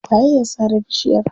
Waye ya sare bishiyar?